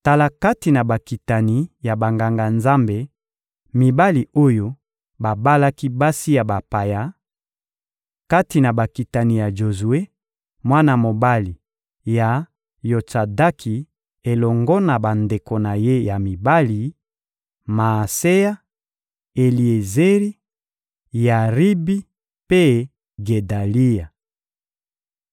Tala kati na bakitani ya Banganga-Nzambe, mibali oyo babalaki basi ya bapaya: Kati na bakitani ya Jozue, mwana mobali ya Yotsadaki elongo na bandeko na ye ya mibali: Maaseya, Eliezeri, Yaribi mpe Gedalia.